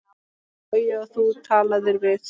Logi: Og þú talaðir við?